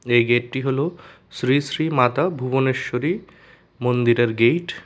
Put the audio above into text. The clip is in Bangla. এই গেটটি হল শ্রী শ্রী মাতা ভুবনেশ্বরী মন্দিরের গেইট ।